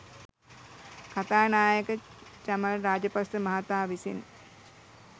කථානායක චමල් රාජපක්‍ෂ මහතා විසින්